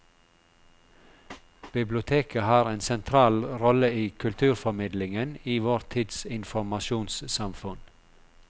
Biblioteket har en sentral rolle i kulturformidlingen i vår tids informasjonssamfunn.